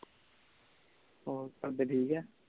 ਹੋਰ ਘਰਦੇ ਠੀਕ ਆ